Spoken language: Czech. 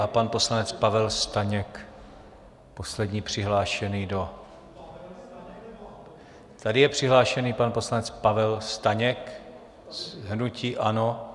A pan poslanec Pavel Staněk, poslední přihlášený do... tady je přihlášený pan poslanec Pavel Staněk z hnutí ANO.